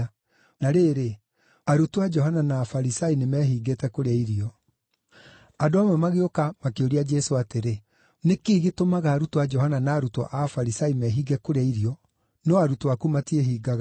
Na rĩrĩ, arutwo a Johana na Afarisai nĩmehingĩte kũrĩa irio. Andũ amwe magĩũka makĩũria Jesũ atĩrĩ, “Nĩkĩ gĩtũmaga arutwo a Johana na arutwo a Afarisai mehinge kũrĩa irio, no arutwo aku matiĩhingaga?”